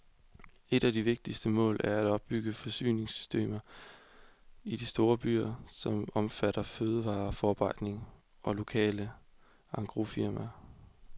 Et af de vigtigste mål er at opbygge forsyningssystemer i de store byer, som omfatter fødevareforarbejdning og lokale engrosmarkeder.